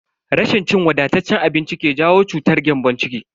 Rashin cin wadataccen abinci ke jawo cutar gyambon ciki.